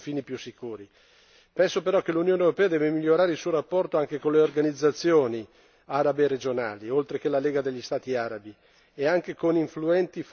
Penso però che l'Unione europea debba migliorare il suo rapporto anche con le organizzazioni arabe regionali, oltre che la Lega degli Stati arabi, e anche con influenti forum subregionali.